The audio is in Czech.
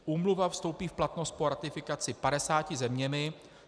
Úmluva vstoupí v platnost po ratifikaci 50 zeměmi.